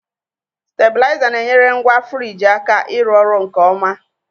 Stabilizer na-enyere ngwa frigi aka ịrụ ọrụ nke ọma